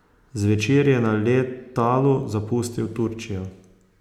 Zvečer je na letalu zapustil Turčijo.